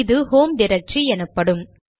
இது home directory எனப்படும்